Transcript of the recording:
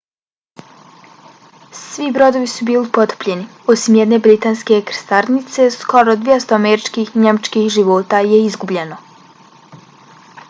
svi brodovi su bili potopljeni osim jedne britanske krstarice. skoro 200 američkih i njemačkih života je izgubljeno